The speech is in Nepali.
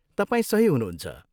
तपाईँ सही हुनुहुन्छ।